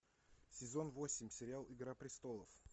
сезон восемь сериал игра престолов